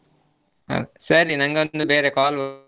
ಹಾ ಸರಿ ನನಗೊಂದು ಬೇರೆ call .